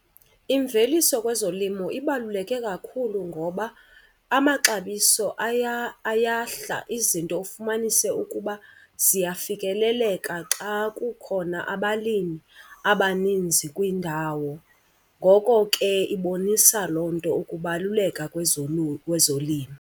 Imveliso kwezolimo ibaluleke kakhulu ngoba amaxabiso ayahla, izinto ufumanise ukuba ziyafikeleleka xa kukhona abalimi abaninzi kwindawo. Ngoko ke ibonisa loo nto ukubaluleka kwezolimo.